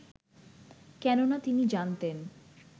কেননা তিনি জানতেন